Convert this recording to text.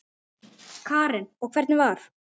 Karen: Og hvernig var?